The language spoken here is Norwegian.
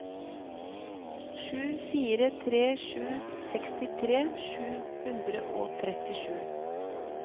sju fire tre sju sekstitre sju hundre og trettisju